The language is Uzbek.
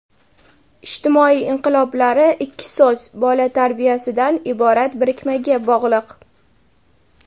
ijtimoiy inqiloblari ikki so‘z - "bola tarbiyasi"dan iborat birikmaga bog‘liq.